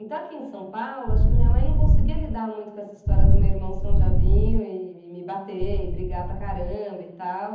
Então aqui em São Paulo, acho que minha mãe não conseguia lidar muito com essa história do meu irmão ser um diabinho e me me bater e brigar para caramba e tal.